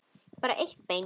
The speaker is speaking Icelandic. En bara eitt bein.